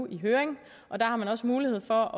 i høring og der har man også mulighed for